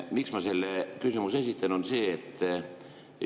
Miks ma selle küsimuse esitan?